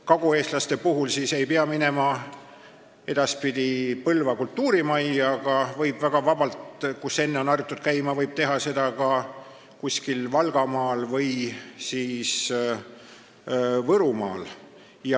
Kagueestlased ei pea edaspidi minema Põlva kultuurimajja, kus on harjutud käima, vaid võib vabalt hääletada kuskil Valgamaal või Võrumaal.